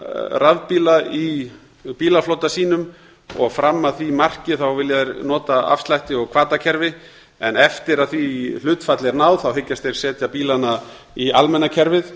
rafbíla í bílaflota sínum og fram að því marki vilja þeir nota afslætti og hvatakerfi en eftir að því hlutfalli er náð hyggjast þeir setja bílana í almenna kerfið